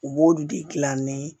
U b'olu de gilan ni